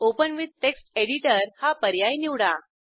open with text editor हा पर्याय निवडा